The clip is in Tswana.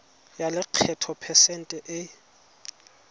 ya lekgetho phesente e